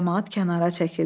Camaat kənara çəkildi.